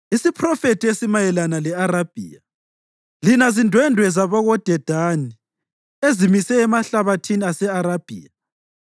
Isiphrofethi esimayelana le-Arabhiya: Lina zindwendwe zabakoDedani ezimise emahlabathini ase-Arabhiya,